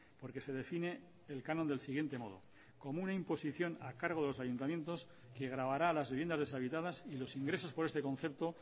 porque se define el canon del siguiente modo como una imposición a cargo de los ayuntamientos que gravará a las viviendas deshabitadas y los ingresos por este concepto